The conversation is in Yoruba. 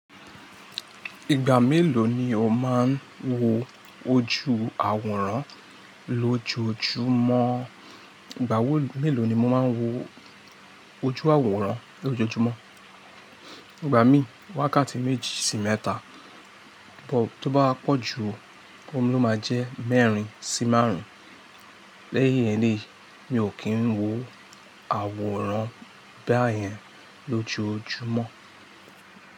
Ìgbà mélòó ni o máa ń wo ojú àwòrán lójojúmọ́? Ìgbà wo mélòó ni mo máa ń wo ojú àwòrán lójojúmọ́? Ìgbà mí i wákàtí méjì sí mẹ́ta, but tó bá wa pọ̀ jù òún ló máa jẹ́ mẹ́rin sí márùn-ún. Lẹ́yìn iyen, mi ò kí ń wo àwòrán bá yẹn lójojúmọ́